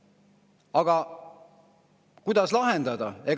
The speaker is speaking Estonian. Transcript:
Aga kuidas lahendada?